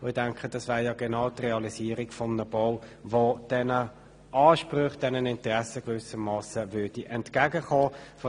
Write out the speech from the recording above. Ich denke, das wäre genau die Realisierung eines Baus, der diesen Ansprüchen und Interessen entgegenkommen würde.